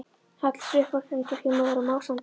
Hallar sér upp að grindverki, móður og másandi.